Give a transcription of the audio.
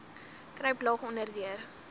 kruip laag onderdeur